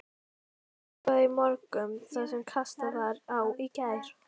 Vökvað í morgun það sem kastað var á í gær.